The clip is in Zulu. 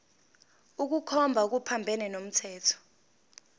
ukukhomba okuphambene nomthetho